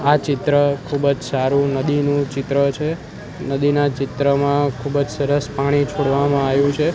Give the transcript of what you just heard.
આ ચિત્ર ખૂબજ સારું નદીનું ચિત્ર છે નદીના ચિત્રમાં ખૂબજ સરસ પાણી છોડવામાં આયુ છે.